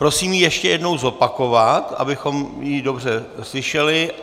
Prosím ji ještě jednou zopakovat, abychom ji dobře slyšeli.